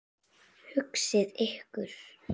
Hugsið ykkur.